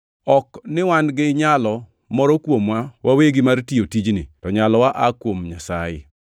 Ok ni wan gi nyalo moro kuomwa wawegi mar tiyo tijni, to nyalowa aa kuom Nyasaye.